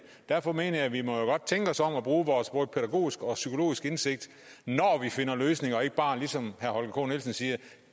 derfor mener jeg at vi jo godt må tænke os om og bruge vores både pædagogiske og psykologiske indsigt når vi finder løsninger og ikke bare ligesom herre holger k nielsen siger